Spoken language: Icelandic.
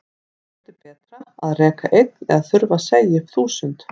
Hvort er betra að reka einn eða þurfa að segja upp þúsund?